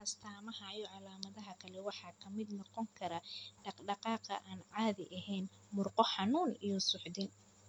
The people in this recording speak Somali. astamaha iyo calaamadaha kale waxaa ka mid noqon kara dhaqdhaqaaq aan caadi ahayn, murqo xanuun, iyo suuxdin.